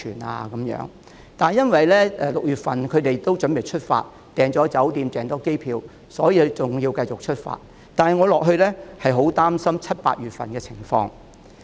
然而，由於6月份的行程已預訂了酒店、機票，所以要如期出發，但繼續下去，我很擔心七八月份的情況。